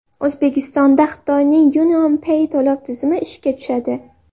O‘zbekistonda Xitoyning UnionPay to‘lov tizimi ishga tushadi.